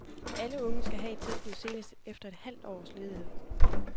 Alle unge skal have et tilbud senest efter et halvt års ledighed.